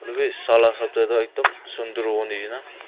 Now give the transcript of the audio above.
edu bi sala hisap tae ekdum sunder howoniahina.